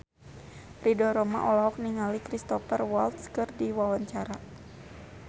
Ridho Roma olohok ningali Cristhoper Waltz keur diwawancara